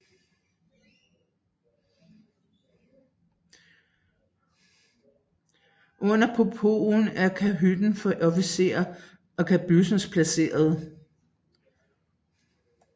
Under poopen er kahytter for officerer og kabyssen placeret